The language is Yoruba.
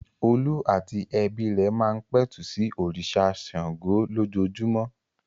Olú àti ẹbí rẹ̀ máa ń pẹ̀tù sí òrìṣà Ṣàngó lójoojúmọ́.